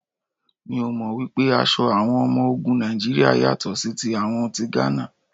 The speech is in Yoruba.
Mi ò mọ̀ wípé aṣọ àwọn ọmọ ogun Nàìjíríà yàtọ̀ sí ti àwọn ti Gánà.